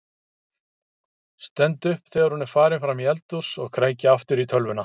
Stend upp þegar hún er farin fram í eldhús og kræki aftur í tölvuna.